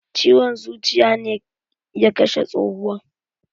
Ciwon zuciya ne ya kashe tsohuwan.